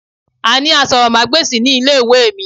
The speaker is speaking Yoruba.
A ni èro asòròmágbèsì ní ilé ìwé mi